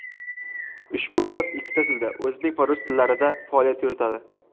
Ushbu bot ikki tilda — o‘zbek va rus tillarida faoliyat yuritadi.